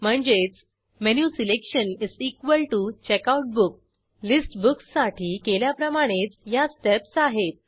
म्हणजेच menu selection checkout book list books साठी केल्याप्रमाणेच या स्टेप्स आहेत